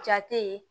Ja tɛ yen